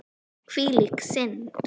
Hvílík snilld!